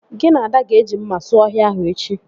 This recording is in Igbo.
Gị na Ada ga-eji mma sụọ ọhịa ahụ echi